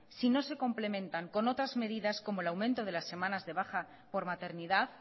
si no se complementan con otras medidas como el aumento de las semanas de baja por maternidad